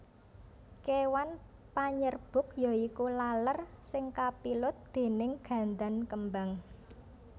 Kéwan panyerbuk yaiku laler sing kapilut déning gandan kembang